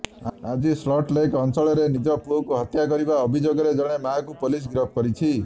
ଆଜି salt lake ଅଂଚଳରେ ନିଜ ପୁଅକୁ ହତ୍ୟା କରିବା ଅଭିଯୋଗରେ ଜଣେ ମାଆକୁ ପୋଲିସ ଗିରଫ କରିଛି